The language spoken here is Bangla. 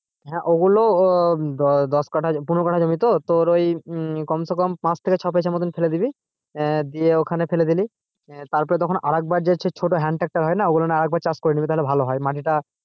হ্যাঁ ওগুলো ও দশ কাটা পনেরো কাটা জমি তো তোর ওই উম কমসেকম পাঁচ থেকে ছয় মতন ফেলে দিবি আহ দিয়ে ওখানে ফেলে দিলি তারপর তখন আরেকবার যে ছোটো hand tractor হয় না ওগুলো না হলে আর একবার চাষ করে নিবি। তাহলে ভালো হয় মাটিটা,